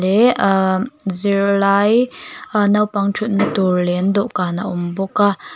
leh ahh zirlai aa naupang thutna tur leh an dawhkan a awm bawk a.